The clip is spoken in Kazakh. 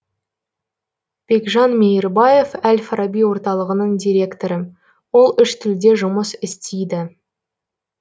бекжан мейірбаев әл фараби орталығының директоры ол үш тілде жұмыс істейді